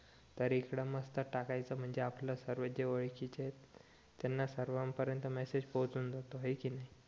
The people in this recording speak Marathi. तर इकडं मस्त टाकायचं म्हणजे आपलं सर्व जे ओळखीचे आहेत त्यांना सर्वान परेंत मेसेज पोहोचून जातो हाई कि नी